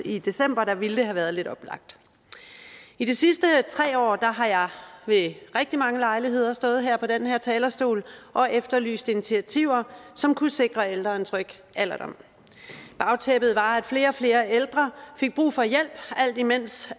i december ville det have været lidt oplagt i de sidste tre år har jeg ved rigtig mange lejligheder stået på den her talerstol og efterlyst initiativer som kunne sikre ældre en tryg alderdom bagtæppet var at flere og flere ældre fik brug for hjælp alt imens